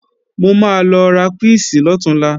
Mo máa lọ ra píìsì lọ̀túnla